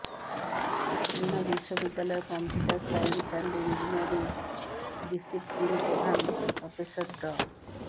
খুলনা বিশ্ববিদ্যালয়ের computer science and engineering discipline প্রধান professor ড